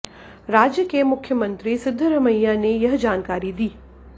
राज्य के मुख्यमंत्री सिद्धरमैया ने यह जानकारी दी